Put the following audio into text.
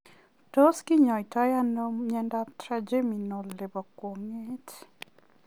Tos kinyoitoo anoo miondoop trigeminal nepo kwangeet?